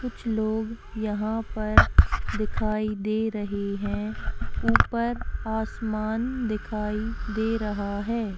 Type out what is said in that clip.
कुछ लोग यहाँ पर दिखाई दे रहे हैं ऊपर आसमान दिखाई दे रहा है।